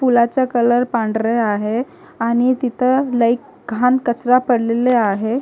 पुलाचा कलर पांढरा आहे आणि तिथं लय घाण कचरा पडलेला आहे.